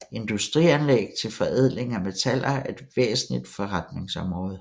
Industrianlæg til forædling af metaller er et væsentligt forretningsområde